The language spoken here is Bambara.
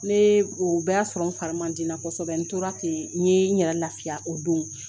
Ne o bɛɛ y'a sɔrɔ n fari man di n na kosɛbɛ n tora ten ,n ye n yɛrɛ lafiya o don.